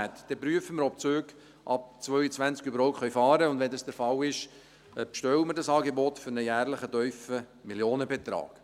Dann prüfen wir, ob die Züge ab 2022 überhaupt fahren können, und wenn dies der Fall ist, bestellen wir das Angebot für einen jährlichen tiefen Millionenbetrag.